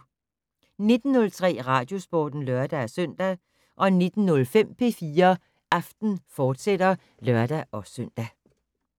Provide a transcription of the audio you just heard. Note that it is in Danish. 19:03: Radiosporten (lør-søn) 19:05: P4 Aften, fortsat (lør-søn)